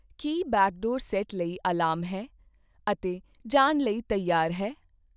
ਕੀ backdoor set ਲਈ alarm ਹੈ ਅਤੇ ਜਾਣ ਲਈ ਤਿਆਰ ਹੈ?